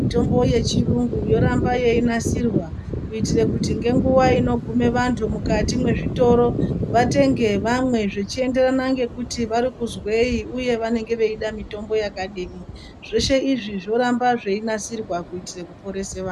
Mutombo yechirungu yoramba yeinasirwa kuitire kuti ngenguva inogume vantu mukati mezvitoro vatenge vamwe zvechienderana ngekuti varikuzwei uye vanenge veida mitombo yakadini , zveshe izvi zvoramba zveinasirwa kuitire kuporese vanhu